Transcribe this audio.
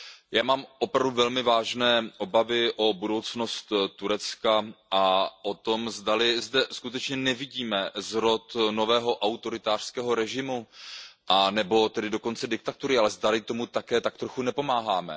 Já mám opravdu velmi vážné obavy o budoucnost Turecka a o to, zdali zde skutečně nevidíme zrod nového autoritářského režimu nebo dokonce diktatury, ale zdali tomu také tak trochu nepomáháme.